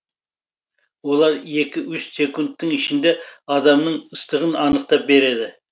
олар екі үш секундтың ішінде адамның ыстығын анықтап береді